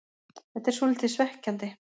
Þetta er svolítið svekkjandi.